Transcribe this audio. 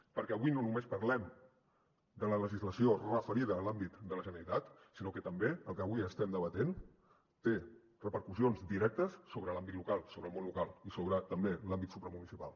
perquè avui no només parlem de la legislació referida a l’àmbit de la generalitat sinó que també el que avui estem debatent té repercussions directes sobre l’àmbit local sobre el món local i sobre també l’àmbit supramunicipal